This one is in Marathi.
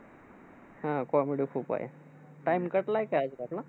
हा, comedy खूप आहे. time cut झालाय का याच्यातला?